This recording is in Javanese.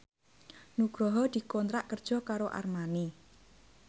Nugroho dikontrak kerja karo Armani